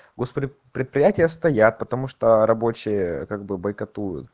госпредприятия стоят потому что рабочие как бы бойкоту